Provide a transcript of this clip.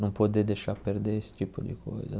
Não poder deixar perder esse tipo de coisa.